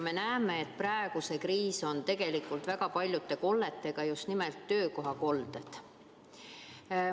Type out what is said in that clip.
Me näeme, et praegu on kriisis tegu väga paljude kolletega, just nimelt töökohakolletega.